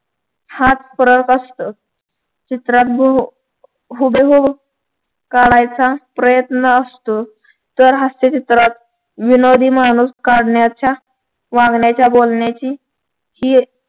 हाच फरक असतो. चित्रात हूब हुबेहूब काढायचा प्रयत्न असतो. तर हास्य चित्रात विनोदी माणूस काढण्याच्या वागण्याच्या बोलण्याची ही एक